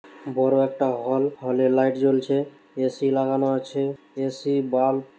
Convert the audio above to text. বড় একটা হল । হলে লাইট জ্বলছে। এ.সি. লাগানো আছে এ.সি. বাল্ব --